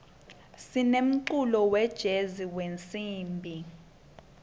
sinemculo wejezi wetinsimbi